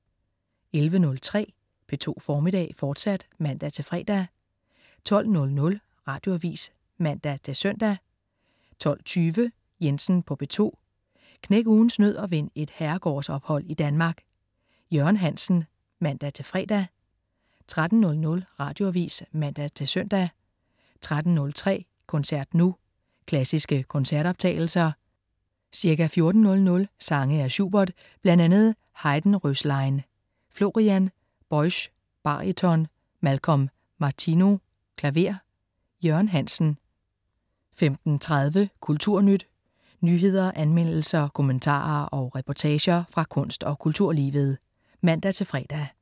11.03 P2 Formiddag, fortsat (man-fre) 12.00 Radioavis (man-søn) 12.20 Jensen på P2. Knæk ugens nød og vind et herregårdsophold i Danmark. Jørgen Hansen (man-fre) 13.00 Radioavis (man-søn) 13.03 Koncert nu. Klassiske koncertoptagelser. Ca. 14.00 sange af Schubert, bl.a. Heidenröslein. Florian Boesch, baryton. Malcolm Martineau, klaver. Jørgen Hansen 15.30 Kulturnyt. Nyheder, anmeldelser, kommentarer og reportager fra kunst- og kulturlivet (man-fre)